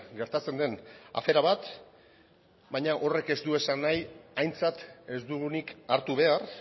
gertatzen den afera bat baina horrek ez du esan nahi aintzat ez dugunik hartu behar